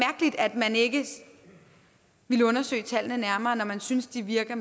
man ikke ville undersøge tallene nærmere når man synes de virker